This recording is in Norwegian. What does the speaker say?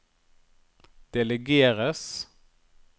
delegeres